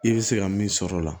I bɛ se ka min sɔrɔ o la